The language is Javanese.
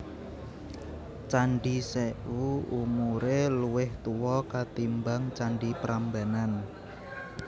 Candhi Sèwu umuré luwih tuwa katimbang candhi Prambanan